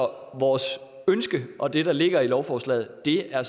vores ønske og det der ligger i lovforslaget er